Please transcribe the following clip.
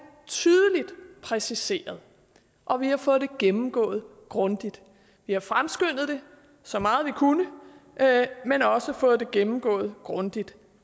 tydeligt præciseret og vi har fået det gennemgået grundigt vi har fremskyndet det så meget vi kunne men også fået det gennemgået grundigt